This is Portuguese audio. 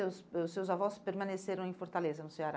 ãh seus avós permaneceram em Fortaleza, no Ceará?